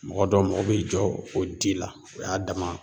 Mɔgɔ dɔ mago bɛ jɔ o di la o y'a dama